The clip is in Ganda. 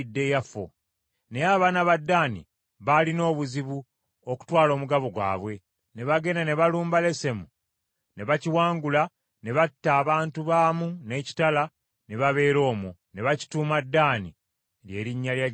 Naye abaana ba Ddaani baalina obuzibu okutwala omugabo gwabwe ne bagenda ne balumba Lesemu ne bakiwangula ne batta abantu baamu n’ekitala ne babeera omwo, ne bakituuma Ddaani ly’erinnya lya jjajjaabwe.